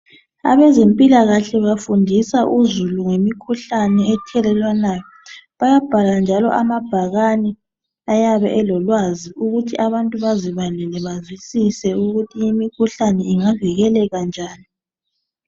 Abezempilakahle bafundisa uzulu ngemikhuhlane ethelelwanayo. Bayabhala njalo amabhakani ayabe elolwazi ukuthi abantu ukuthi abantu bazibalele bazwisise ukuthi imikhuhlane ingavikeleka njani.